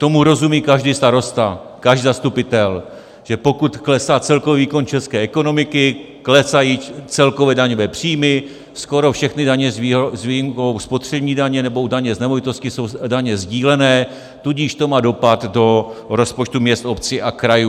Tomu rozumí každý starosta, každý zastupitel, že pokud klesá celkový výkon české ekonomiky, klesají celkové daňové příjmy, skoro všechny daně s výjimkou spotřební daně nebo daně z nemovitostí jsou daně sdílené, tudíž to má dopad do rozpočtu měst, obcí a krajů.